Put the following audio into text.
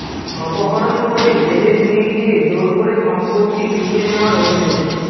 অপহরণ করে জেলে নিয়ে গিয়ে জোর করে সম্পত্তি লিখিয়ে নেওয়ার অভিযোগ